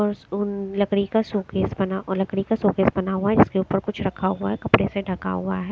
और लकड़ी का शोकेस बना लकड़ी का शोकेस बना हुआ है जिसके ऊपर कुछ रखा हुआ है कपड़े से ढका हुआ है।